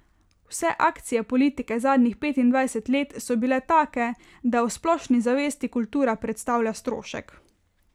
Vse akcije politike zadnjih petindvajset let so bile take, da v splošni zavesti kultura predstavlja strošek.